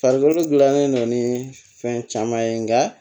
Farikolo gilanen don ni fɛn caman ye nka